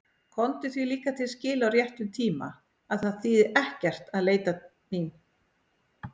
Komdu því líka til skila á réttum tíma að það þýði ekkert að leita mín.